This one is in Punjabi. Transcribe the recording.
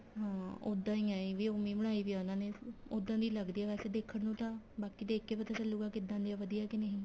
ਹਾਂ ਉੱਦਾਂ ਈ ਏ ਇਹ ਵੀ ਉਵੇ ਹੀ ਬਣਾਈ ਪਈ ਏ ਉਹਨਾ ਨੇ ਉੱਦਾਂ ਦੀ ਲੱਗਦੀ ਏ ਵੈਸੇ ਦੇਖਣ ਨੂੰ ਤਾਂ ਬਾਕੀ ਦੇਖ ਕੇ ਪਤਾ ਚਲੂਗਾ ਕਿੱਦਾਂ ਦੀ ਏ ਵਧੀਆ ਕੇ ਨਹੀਂ